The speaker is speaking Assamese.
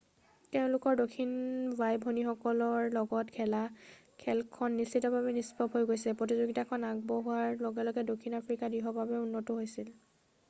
তেওঁলোকৰ দক্ষিণ বাই-ভনীসকলকৰ লগত খেলা খেলখনত নিশ্চিতভাৱে নিষ্প্ৰভ দেখা গৈছে প্ৰতিযোগিতাখন আগবঢ়াৰ লগে লগে দক্ষিণ আফ্ৰিকা দৃঢ়ভাৱে উন্নত হৈছিল